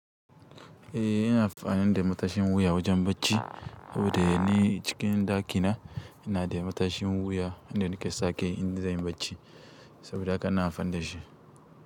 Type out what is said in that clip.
Eh ina amfani da matashin wuya wajen bacci saboda ni cikin ɗakina ina da matashin wuya, inda nake sa kai in za yi bacci saboda haka ina amfani da shi.